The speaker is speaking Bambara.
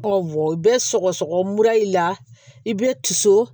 bɛ sɔgɔsɔgɔ mura y'i la i bɛ tiso